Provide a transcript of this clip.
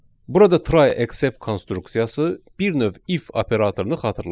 Burada try except konstruksiyası bir növ if operatorunu xatırladır.